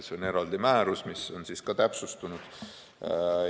See on eraldi määrus, mis on siis ka täpsustunud.